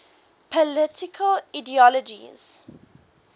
political ideologies